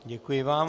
Děkuji vám.